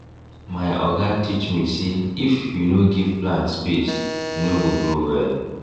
my oga teach me say if you no give plant space e no go grow well